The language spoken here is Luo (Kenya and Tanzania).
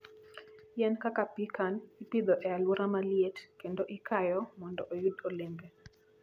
Yien kaka pecan ipidho e alwora ma liet kendo ikayo mondo oyud olembe.